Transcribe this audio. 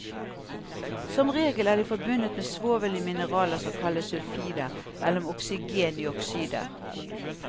Som regel er de forbundet med svovel i mineraler som kalles sulfider, eller med oksygen i oksyder.